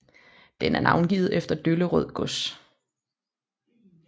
Den er navngivet efter Dollerød gods